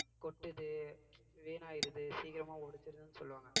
கொட்டுது வீணாயிடுது சீக்கிரமா உடைச்சிருதுன்னு சொல்லுவாங்க